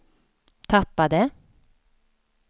tappade